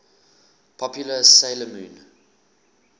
popular 'sailor moon